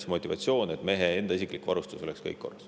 Motivatsioon on, et mehe enda isiklik varustus oleks kõik korras.